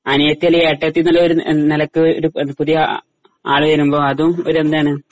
അനിയത്തി അല്ലെങ്കിൽ ഏട്ടത്തിന്നൊള്ളോരു നിലക്ക് ട പുതിയ ആളുവരുമ്പോൾ അതും ഒരു എന്താണ്